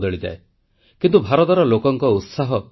ତେଣୁ ଗୋଟିଏ ଭିନ୍ନ ସମୟ ସ୍ଥିର କରି ଆଜି ଆପଣଙ୍କୁ ମନର କଥା କହୁଛି